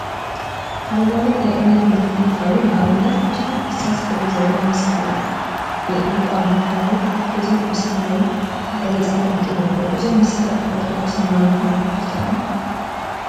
ሃይማኖት ሃይማኖት ናይ እምነት ምልክት እንትኸውን፤ ንአብነት ብዙሓት እርሳስ ሕብሪ ዘለዎም መስቀላት ብዕንቋ መትሓዚ ተተሓሒዞም አብ ሰማያዊ ድሕረ ገፅ ተቀሚጦም ይርከቡ፡፡ እዞም መስቀላት ንኦርቶዶክስ ሃይማኖት ድዮም ዝጠቅሙ?